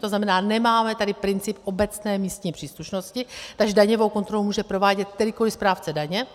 To znamená, nemáme tady princip obecné místní příslušnosti, takže daňovou kontrolu může provádět kterýkoli správce daně.